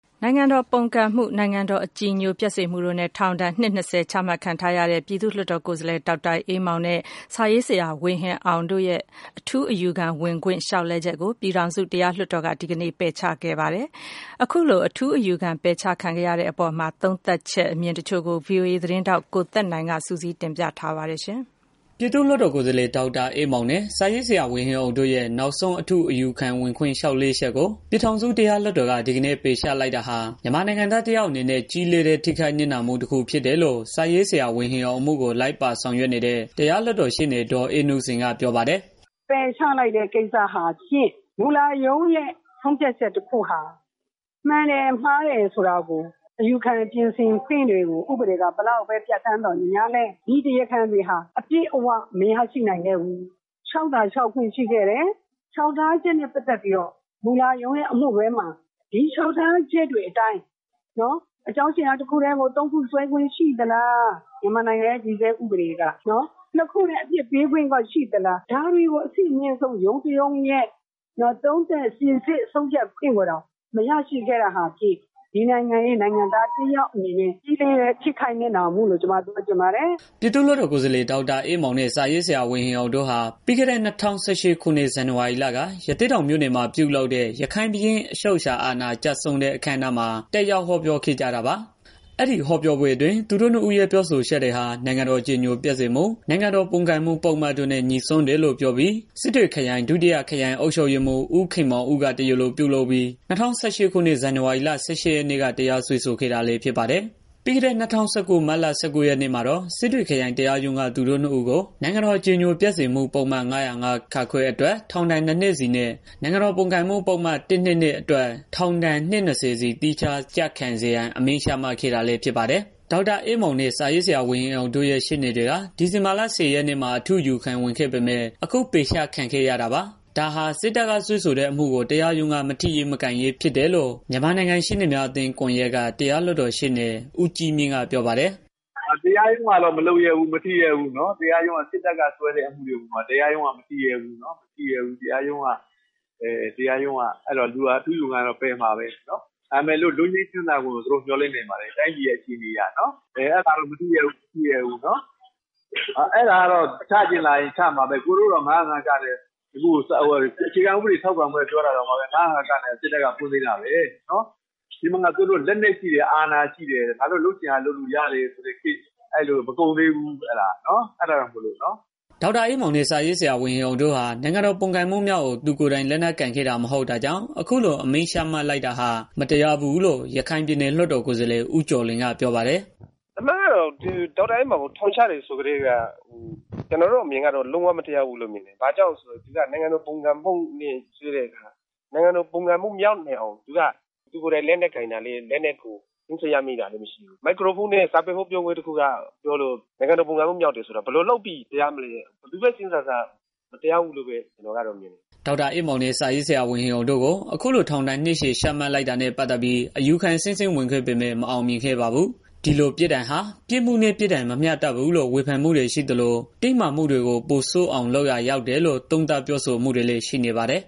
နိုင်ငံတော် ပုန်ကန်မှု နိုင်ငံတော် အကြည်ညိုပျက်စေမှုတို့နဲ့ ထောင်ဒဏ် နှစ်၂၀ချမှတ်ခံထားရတဲ့ ပြည်သူ့ လွှတ် တော် ကိုယ်စား လှယ် ဒေါက်တာအေးမောင်နဲ့ စာရေးဆရာ ဝေဟင်အောင်တို့ရဲ့ ထူးအယူခံဝင်ခွင့် လျောက်လဲ ချက်ကို ပြည်ထောင်စု တရားလွှတ် တော်က ဒီကနေ့ ပယ်ချခဲ့ပါတယ်။ အခုလို အထူးအယူခံ ပယ်ချခံရတာနဲ့ ပတ်သတ်ပြီး အမြင်တွေကို ဗွီအိုအေ သတင်းထောက် ကိုသက်နိုင် က စုစည်း တင်ပြ ထားပါတယ်။ ပြည်သူ့လွှတ်တော်ကိုယ်စားလှယ် ဒေါက်တာအေးမောင်နဲ့ စာရေးဆရာ ဝေဟင်အောင်တို့ရဲ့ နောက်ဆုံး အထူးအယူခံဝင်ခွင့် လျှောက်လဲချက်ကို ပြည်ထောင်စု တရားလွှတ် တော်က ဒီကနေ့ ပယ်ချလိုက်တာဟာ မြန်မာနိုင်ငံသား တစ်ယောက်အနေနဲ့ ကြီးလေးတဲ့ ထိခိုက်နစ်နာမှု တစ်ခုဖြစ် တယ်လို့ စာရေးဆရာ ဝေဟင်အောင် အမှုကို လိုက်ပါဆောင်ရွက်နေတဲ့ တရားလွှတ်တော်ရှေ့နေ ဒေါ်အေးနုစိန်က ပြောပါတယ်။ “ပယ်ချလိုက်တဲ့ ကိစ္စဟာဖြင့် မှုလရုံးရဲ့ ဆုံးဖြတ်ချက်တစ်ခုဟာ မှန်တယ် မှားတယ်ဆိုတာကို အယူခံ ပြင်ဆင်ခွင့်တွေကို ဥပဒေက ဘယ်လောက်ပဲ ပြဌာန်းသော်လည်း ဒီတရားခံတွေဟာ အပြည့်အဝ မရရှိနိုင်ခဲ့ဘူး။ လျှောက်သာ လျှောက်ခွင့်ရှိခဲ့တယ်။ မှုလရုံးရဲ့ အမှုတွဲမှာ ဒီလျှောက်ထားချက်တွေ အတိုင်း အကြောင်းအရာ တစ်ခုတည်းမဟုတ်ပဲ သုံးခု စွဲခွင့်ရှိသလား။ မြန်မာနိုင်ငံရဲ့ တည်ဆဲ ဥပေဒေက နှစ်ခုတည်း အပြစ်ပေးခွင့်ကော ရှိသလား ဒါတွေကို အဆင့်အမြင့်ဆုံးရုံးတစ်ရုံးရဲ့ သုံးသပ်စိစစ် ခွင့်ကိုတောင် မရရှိခဲ့တာဟာ ဒီနိုင်ငံရဲ့ နိုင်ငံသားတစ်ယောက်အနေနဲ့ ကြီးလေးတဲ့ ထိခိုက်နစ်နာမှုလို့ ပြောချင်ပါတယ်။” ပြည်သူ့လွတ်တော်ကိုယ်စားလှယ် ဒေါက်တာအေးမောင်နဲ့ စာရေးဆရာ ဝေဟင်အောင်တို့ဟာ ပြီးခဲ့တဲ့ ၂၀၁၈ခုနှစ်က ဇန်နဝါရီလက ရသေ့တောင်မြို့နယ်မှာ ပြုလုပ်တဲ့ ရခိုင့်ဘုရင့် အချုပ်အခြာအာဏာ ကျဆုံးတဲ့ အခမ်းအနားမှာ တက်ရောက် ဟောပြောခဲ့ကြတာပါ။ ပြီးခဲ့တဲ့ ၂၀၁၉ မတ်လ ၁၉ရက်နေ့မှာတော့ စစ်တွေခရိုင်တရားရုံးက သူတို့နှစ်ဦးကို နိုင်ငံတော် အကြည်ညိုပျက် စေမှု ပုဒ်မ ၅၀၅(ခ) အတွက် ထောင်ဒဏ် ၂ နှစ်စီ နဲ့ နိုင်ငံတော်ပုန်ကန်မှု ပုဒ်မ ၁၂၂ အတွက် ထောင်ဒဏ် အနှစ် ၂၀ စီ ကိုသီးခြားကျခံစေရန် အမိန့်ချမှတ်ခဲ့ တာလည်းဖြစ်ပါတယ်။ ဒေါက်တာအေးမောင်နဲ့ စာရေးဆရာဝေဟင်အောင်တို့ ရဲ့ ရှေ့နေတွေက ဒီဇင်ဘာလ ၁၀ ရက်နေ့မှာ အထူးအ ယူခံ ဝင်ခဲ့ပေမယ့် အခု ပယ်အချခံခဲ့ရတာပါ။ ဒါဟာ စစ်တပ်ကစွဲဆို တဲ့ အမှုကို တရားရုံးက မထိရဲ၊ မကိုင်ရဲ ဖြစ်နေတာကြောင့် ဖြစ်တယ်လို့ မြန်မာနိုင်ငံရှေ့နေများအသင်း ကွန်ယက်က တရားလွတ်တော် ရှေ့နေ ဦးကြီးမြင့် ကဝေဖန် ပါတယ်။ “တရားရုံးကတော့ မထိရဲဘူး မကိုင်ရဲဘူး။ စစ်တပ်က စွဲတဲ့ အမှုတွေကို တရားရုံးက မထိရဲဘူး။ အဲတော့ အထူးအယူခံတော့ ပယ်မှာပဲ။ ဒါပေမယ့် လွတ်ငြိမ်းချမ်းသာခွင့်ကိုတော့ မျော်လင့်နေပါတယ်။ တိုင်းပြည်ရဲ့ အခြေအနေအရနော်။ အဲတာတော့ တရားရုံးက မထိရဲဘူး။ အဲတော့ ချချင်ရင် ချမှာပဲ ၊ကိုယ်တွေတောင် ၅၀၅ က နဲ့ အခြေခံဥပဒေ ပြင်ဆင်ရေး ပြောတာတောင် စစ်တပ်က တရားစွဲသေးတာပဲ။ သူတို့မှာ လက်နက်ရှိတယ် အာဏာရှိတယ် လုပ်ချင်ရာ လုပ်လို့ရတယ် ဆိုတဲ့ ခေတ်မကုန်သေးဘူး။ အဲတာကြောင့်မလို့။” ဒေါက်တာအေးမောင်နဲ့ စာရေးဆရာဝေဟင်အောင်တို့ဟာ နိုင်ငံတော် ပုန်ကန်မှုမြောက်အောင် သူကိုယ်တိုင် လက် နက်ကိုင်ခဲ့တာ မဟုတ်တာကြောင့် အခုလိုအမိန့်ချမှတ်လိုက်တာဟာ မတရားဘူးလို့ ရခိုင်ပြည်နယ် လွတ်တော် ကိုယ်စားလှယ် ဦးကျော်လွင်က ပြောပါတယ်။ “အမှန်ကတော့ ဒေါက်တာအေးမောင်ကို ထောင်ချတယ်ဆိုတာ ကျနော်တို့အမြင်ကတော့ လုံးဝမတရားဘူးလို့ မြင်တယ်။ ဘာကြောင့်လဲ ဆိုတော့ သူက နိုင်ငံတော် ပုန်ကန်မှု မြောက်အောင် သူကိုယ်တိုင် လက်နက်ကိုင်တာ လည်းမဟုတ်ဘူး။ လက်နက်တွေ သိမ်းစည်းရမိတာလည်း မဟုတ်ဘူး။ စာပေဟောပြောပွဲလုပ်လို့ နိုင်ငံတော် ပုန်ကန်မှု မြောက်တယ်ဆိုတာ ဘယ်လိုလုပ်ပြီး တရားမလဲ ဘယ်လိုပဲစဉ်းစား ကျနော်ကတော့ မတရား ဘူးလို့ မြင်တယ်။” ဒေါက်တာအေးမောင်နဲ့ စာရေးဆရာ ဝေဟင်အောင်တို့ကို အခုလို ထောင်ဒဏ် နှစ်ရှည် ချမှတ်လိုက် တာနဲ့ ပတ်သတ်ပြီး အယူခံ အဆင့်ဆင့် ဝင်ခဲ့ပေမယ့် မအောင်မြင်ခဲ့ ပါဘူး။ ဒီလိုပြစ်ဒဏ်ဟာ ပြစ်မှုနဲ့ ပြစ်ဒဏ် မမျှတဘူးလို့ ဝေဖန်မှုတွေရှိသလို၊ တင်းမာမှုတွေ ပိုဆိုးအောင် လုပ်ရာကျတယ်ဆိုတဲ့ သုံးသပ် ပြောဆိုမှုတွေလည်း ရှိနေပါတယ်